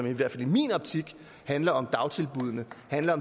i hvert fald i min optik handler om dagtilbuddene